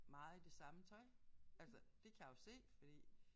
Meget i det samme tøj altså det kan jeg jo se fordi